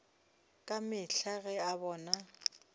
ka mehla ge a bona